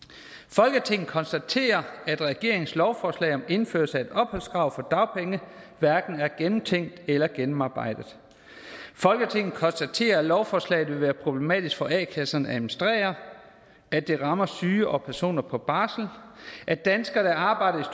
folketinget konstaterer at regeringens lovforslag om indførelse af et opholdskrav for dagpenge hverken er gennemtænkt eller gennemarbejdet folketinget konstaterer at lovforslaget vil været problematisk for a kasserne at administrere at det rammer syge og personer på barsel at danskere der arbejder